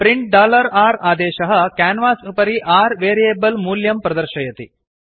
print r आदेशः canvas उपरि r variable मूल्यं प्रदर्शयति